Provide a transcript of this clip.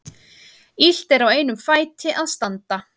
Illt er á einum fæti að standa.